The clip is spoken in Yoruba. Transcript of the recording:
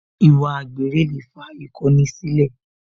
Ìwà àgbèrè lè fa ìkọni sílẹ̀